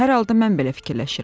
Hər halda mən belə fikirləşirəm.